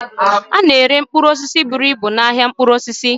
A na-ere mkpụrụ osisi buru ibu n'ahịa mkpụrụ osisi.